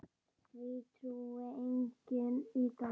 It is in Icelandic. Því trúir enginn í dag.